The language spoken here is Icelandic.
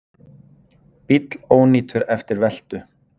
Bíll ónýtur eftir veltu